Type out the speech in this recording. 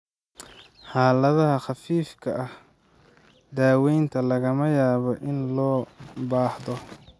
Xaaladaha khafiifka ah, daawaynta lagama yaabo in loo baahdo.